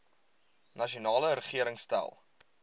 nasionale regering stel